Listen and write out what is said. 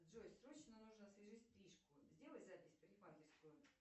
джой срочно нужно освежить стрижку сделай запись в парикмахерскую